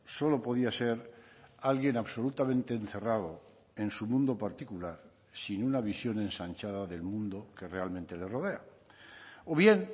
solo podía ser alguien absolutamente encerrado en su mundo particular sin una visión ensanchada del mundo que realmente le rodea o bien